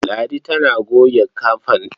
Ladi tana goge ƙafanta.